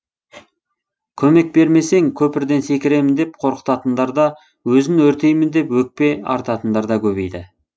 көмек бермесең көпірден секіремін деп қорқытатындар да өзін өртеймін деп өкпе артатындар да көбейді